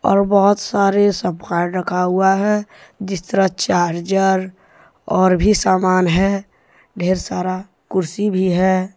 और बहोत सारे सामान रखा हुआ है जिस तरह चार्जर और भी समान है ढेर सारा कुर्सी भी है।